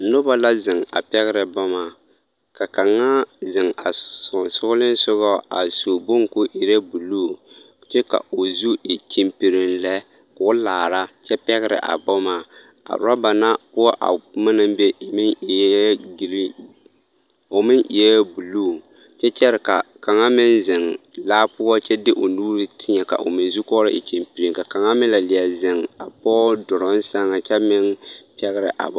Noba la zeŋ a pɛgerɛ boma ka kaŋa zeŋ a sonsoolesogɔ a su bone k'o erɛ buluu kyɛ ka o zu e kyempiriŋ lɛ k'o laara kyɛ pɛgerɛ a boma, a roba na poɔ a boma naŋ be meŋ eɛɛ giriin, o meŋ eɛɛ buluu kyɛ kyɛre ka kaŋa meŋ zeŋ laa poɔ kyɛ de o nuuri tēɛ ka o meŋ zukɔɔloŋ e kyempiriŋ, kaŋa meŋ la leɛ zeŋ a pɔgɔ duruŋ sɛŋ kyɛ meŋ pɛgerɛ a boma.